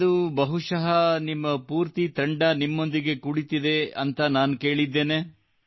ಇಂದು ಬಹಶಃ ನಿಮ್ಮ ಪೂರ್ತಿ ತಂಡ ನಿಮ್ಮೊಂದಿಗೆ ಕುಳಿತಿದೆ ಎಂದು ನಾನು ಕೇಳಿದ್ದೇನೆ